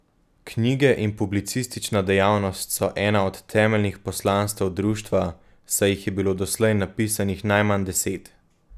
Knjige in publicistična dejavnost so ena od temeljnih poslanstev društva, saj jih je bilo doslej napisanih najmanj deset.